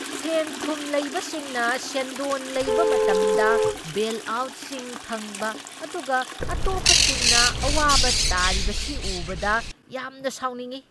ꯁꯦꯟꯊꯨꯝ ꯂꯩꯕꯁꯤꯡꯅ ꯁꯦꯟꯗꯣꯟ ꯂꯩꯕ ꯃꯇꯝꯗ ꯕꯦꯜꯑꯥꯎꯠꯁꯤꯡ ꯐꯪꯕ ꯑꯗꯨꯒ ꯑꯇꯣꯞꯄꯁꯤꯡꯅ ꯑꯋꯥꯕ ꯇꯥꯔꯤꯕꯁꯤ ꯎꯕꯗ ꯌꯥꯝꯅ ꯁꯥꯎꯅꯤꯡꯢ꯫